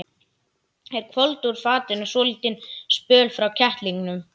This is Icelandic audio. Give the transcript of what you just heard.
Þeir hvolfdu úr fatinu svolítinn spöl frá kettlingunum.